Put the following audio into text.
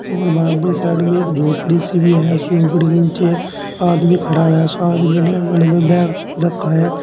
और वहां पे साइड में एक झोपड़ी सी भी है उस झोपड़ी के नीचे आदमी खड़ा है उस आदमी ने गले में बैग रखा है।